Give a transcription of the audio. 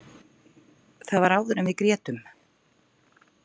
Það var áður en við grétum.